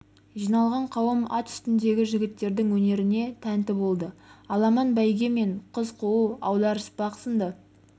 жиналған қауым ат үстіндегі жігіттердің өнеріне тнті болды аламан бйге мен қыз қуу аударыспақ сынды